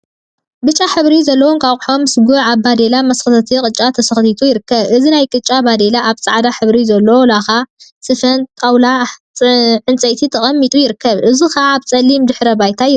ብጫ ሕብሪ ዘለዎ እንቋቁሖ ምስ ጉዕ አብ ባዴላ መሰንከቲ ቅጫ ተሰንኪቱ ይርከብ። እዚ ናይ ቅጫ ባዴላ አብ ፃዕዳ ሕብሪ ዘለዎ ላካ ስፈን ጣውላ ዕንፀይቲን ተቀሚጡ ይርከብ። እዚ ከዓ አብ ፀሊም ድሕረ ባይታ ይርከብ።